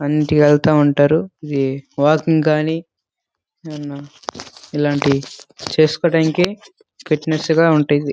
అన్నింటికీ ఎల్తా ఉంటరు ఇది వాకింగ్ గాని ఇలాంటివి చేసుకోడానికి ఫిట్నెస్ గా ఉంటాది.